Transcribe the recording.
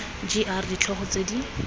g r ditlhogo tse di